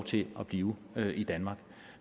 til at blive i danmark